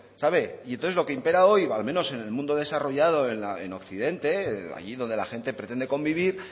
sabe y entonces lo que impera hoy al menos en el mundo desarrollado en occidente allí donde la gente pretende convivir